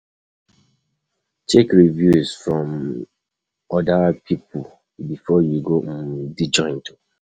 Check reviews from um oda pipo before you go um di joint